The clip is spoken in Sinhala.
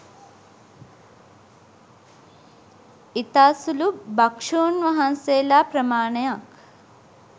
ඉතා සුළු භක්ෂුන් වහන්සේලා ප්‍රමාණයක්